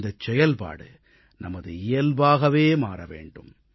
இந்தச் செயல்பாடு நமது இயல்பாகவே மாற வேண்டும்